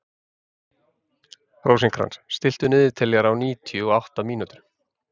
Rósinkrans, stilltu niðurteljara á níutíu og átta mínútur.